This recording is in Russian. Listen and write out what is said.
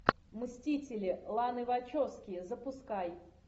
мстители ланы вачовски запускай